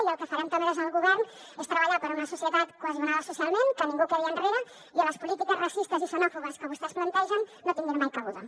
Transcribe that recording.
i el que farem també des del govern és treballar per una societat cohesionada socialment que ningú quedi enrere i on les polítiques racistes i xenòfobes que vostès plantegen no hi tinguin mai cabuda